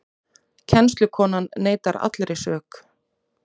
Kennslukonan neitar allri sök